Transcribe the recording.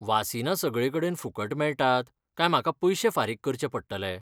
वासिनां सगळेकडेन फुकट मेळटात काय म्हाका पयशें फारीक करचें पडटले?